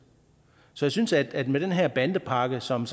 så jeg synes ikke at den her bandepakken som